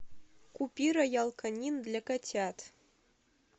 купи роял канин для котят